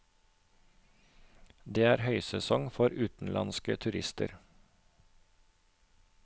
Det er høysesong for utenlandske turister.